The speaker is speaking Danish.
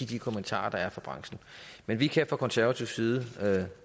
de kommentarer der er fra branchen men vi kan fra konservativ side